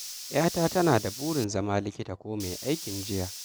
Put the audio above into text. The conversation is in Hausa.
Yata tana da burin zama likita ko mai aikin jiya.